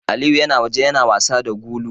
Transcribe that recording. Aliyu yana waje yana wasa da gulu.